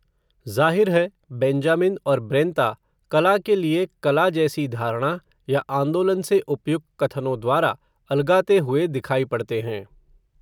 ज़ाहिर है, बेंजामिन और ब्रेंता, कला के लिए कला जैसी धारणा, या आंदोलन से उपयुक्त कथनों द्वारा, अलगाते हुए दिखाई पड़ते हैं